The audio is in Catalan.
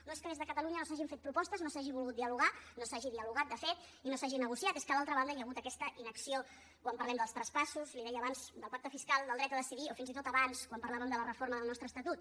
no és que des de catalunya no s’hagin fet propostes no s’hagi volgut dialogar no s’hagi dialogat de fet i no s’hagi negociat és que a l’altra banda hi ha hagut aquesta inacció quan parlem dels traspassos li deia abans del pacte fiscal del dret a decidir o fins i tot abans quan parlàvem de la reforma del nostre estatut